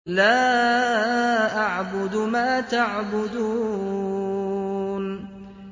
لَا أَعْبُدُ مَا تَعْبُدُونَ